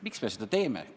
Miks me seda teeme?